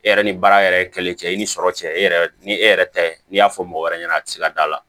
E yɛrɛ ni baara yɛrɛ ye kelen cɛ i ni sɔrɔ cɛ e yɛrɛ ni e yɛrɛ ta ye n'i y'a fɔ mɔgɔ wɛrɛ ɲɛna a ti se ka d'a la